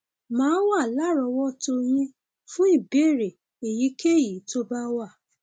màá wà lárọọwọtó yín fún ìbéèrè èyíkéyìí tó bá wà